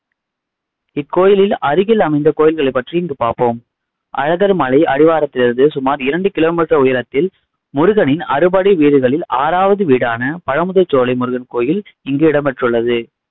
இக்கோயிலில் அருகில் அமைந்த கோயில்களை பற்றி இங்கு பார்ப்போம் அழகர்மலை அடிவாரத்திலிருந்து சுமார் இரண்டு kilometer உயரத்தில் முருகனின் அறுபடை வீடுகளில் ஆறாவது வீடான பழமுதிர்சோலை முருகன் கோயில் இங்கு இடம்பெற்றுள்ளது